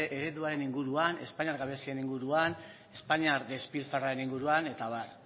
ereduaren inguruan espainiar gabezien inguruan espainiar despilfarroaren inguruan eta abar